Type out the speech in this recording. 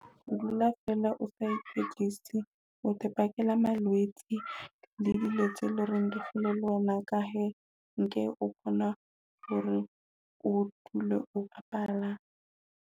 O dula feela o sa ikwetlise o te pakela malwetse le dilo tse loreng di hole wena ka he, nke o kgona hore o dule o bapala.